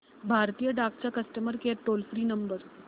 भारतीय डाक चा customer care toll free number